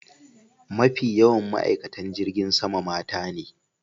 Mafi yawan ma'aikatan jirgin sama mata ne.